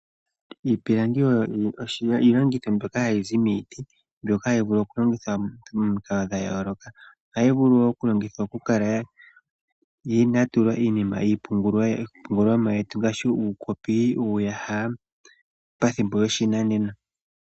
Iipilangi oyo iilongitho mbyoka hayi zi miiti, mbyoka hayi vulu okulongithwa momikalo dhayooloka. Ohayi vulu longitha okukala yatulwa iinima iipungulomwa yetu ngaashi uukopi, uuyaha pathimbo lyoshinanena.